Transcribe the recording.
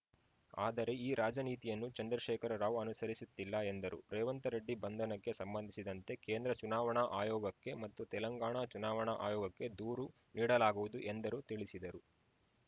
ಆದರೆ ಈ ರಾಜನೀತಿಯನ್ನು ಚಂದ್ರಶೇಖರ ರಾವ್‌ ಅನುಸರಿಸುತ್ತಿಲ್ಲ ಎಂದರು ರೇವಂತರೆಡ್ಡಿ ಬಂಧನಕ್ಕೆ ಸಂಬಂಧಿಸಿದಂತೆ ಕೇಂದ್ರ ಚುನಾವಣಾ ಆಯೋಗಕ್ಕೆ ಮತ್ತು ತೆಲಂಗಾಣ ಚುನಾವಣಾ ಆಯೋಗಕ್ಕೆ ದೂರು ನೀಡಲಾಗುವುದು ಎಂದರು ತಿಳಿಸಿದರು